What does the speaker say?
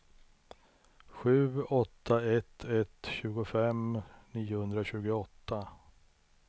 sju åtta ett ett tjugofem niohundratjugoåtta